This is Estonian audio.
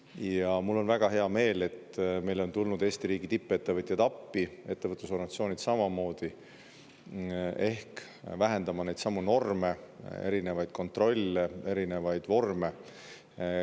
Ja mul on väga hea meel, et meil on tulnud Eesti riigi tippettevõtjaid appi, ettevõtlusorganisatsioonid samamoodi, vähendama neidsamu norme, erinevaid kontrolle, erinevaid vorme.